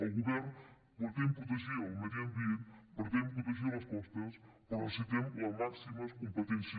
el govern pretén protegir el medi ambient pretén protegir les costes però necessitem les màximes competències